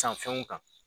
San fɛnw kan